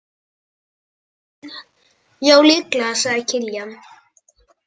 Ja, líklega, sagði Kiljan.